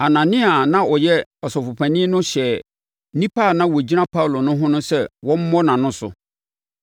Anania a na ɔyɛ Ɔsɔfopanin no hyɛɛ nnipa a na wɔgyina Paulo ho no sɛ wɔmmɔ nʼano so.